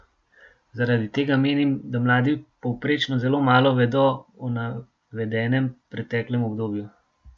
Zaradi tega menim, da mladi povprečno zelo malo vedo o navedenem preteklem obdobju.